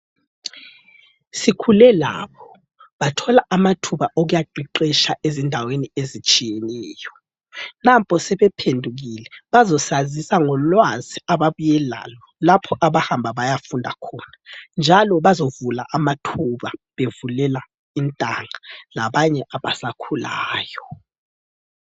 Sikhule labo, bathola amathuba okuyaqeqesha ezindaweni ezitshiyeneyo, nampo sebephendukile bazosazisa ngolwazi ababuye lalo lapho abahamba bayafunda khona, njalo bazavula amathuba bevulela intanga labanye abasakhulayo.